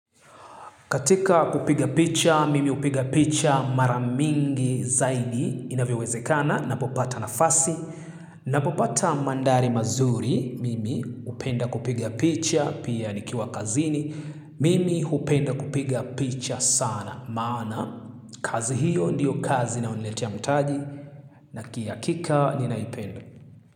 Katika kupiga picha, mimi hupiga picha maramingi zaidi inavyo wezekana na popata na fasi. Napopata mandhari mazuri, mimi hupenda kupiga picha, pia nikiwa kazini. Mimi upenda kupiga picha sana. Maana, kazi hiyo ndiyo kazi na unaonilete ya mtaji na kihakika ninaipenda.